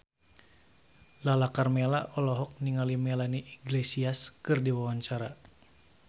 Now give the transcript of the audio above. Lala Karmela olohok ningali Melanie Iglesias keur diwawancara